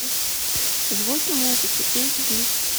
звуки музыки эйчди